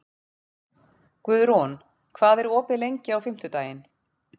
Guðrún, hvað er opið lengi á fimmtudaginn?